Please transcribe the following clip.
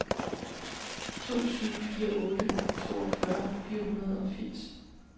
to syv fire otte toogfyrre fire hundrede og firs